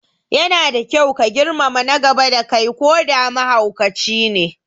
Yana da kyau ka girmama na gaba da kai koda mahaukacine